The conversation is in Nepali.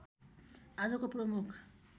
आजको प्रमुख